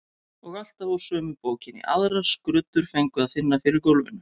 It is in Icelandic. Og alltaf úr sömu bókinni, aðrar skruddur fengu að finna fyrir gólfinu.